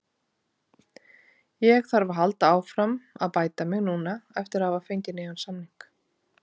Ég þarf að halda áfram að bæta mig núna eftir að hafa fengið nýjan samning.